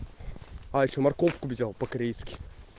а ещё морковку взял по корейски